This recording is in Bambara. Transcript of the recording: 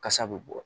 Kasa bɛ bɔ